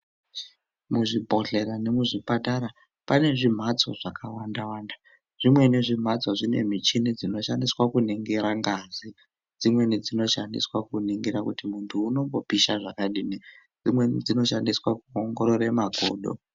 Muzvibhodhlera nemuzvipatara pane zvimhatso dzakawanda wanda zvimweni zvimhatso zvine michini dzinoshandiswa kuningira ngazi dzimweni dsonoshandiswa kuningira kuti muntu unombopisha zvakadini dsimweni dzinoshandiswa kuoongorora makodo.